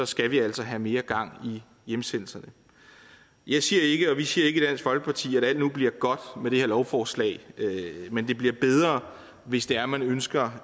skal vi altså have mere gang i hjemsendelserne jeg siger ikke og vi siger ikke i dansk folkeparti at alt nu bliver godt med det her lovforslag men det bliver bedre hvis det er at man ønsker